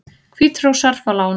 Hvítrússar fá lán